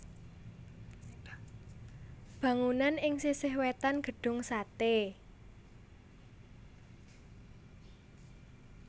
Bangunanan ing sisih wètan Gedung Sate